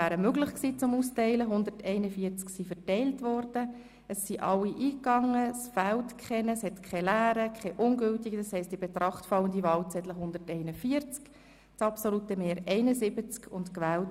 Bei 141 ausgeteilten und 141 eingegangenen Wahlzetteln, wovon leer 0 und ungültig 0, in Betracht fallend 141, wird bei einem absoluten Mehr von 71 gewählt: